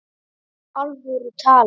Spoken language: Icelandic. Í alvöru talað?